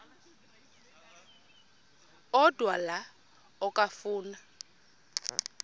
odwa la okafuna